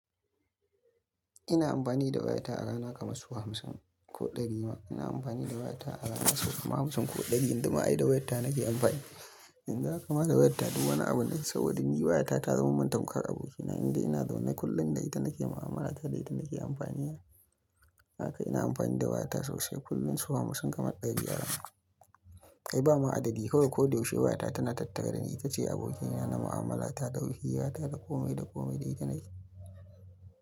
Ina amfani da wayata a rana kamar su hamsin ko ɗari ma. Ina amfani da wayata a rana masu hamsin ko ɗari, yanzu ma ai da wayata nake amfani. Indaial yakamata wayata duk wani abu ne, saboda ni wayata ta zama mantaukar abokina, inda ina zaune kullum da ita nake mu'amala, ta dai da ita nake amfani. Haka ina amfani da wayata sosai kullum su hamsin kamar ɗari a rana. Kai bama adadi kawai ko da yaushe wayata tana tattare da ni, ita ce abokina na mu'amala ta da hirata wayata, da komai da komai da ita nake.